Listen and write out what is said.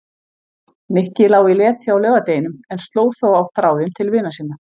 Nikki lá í leti á laugardeginum en sló þó á þráðinn til vina sinna.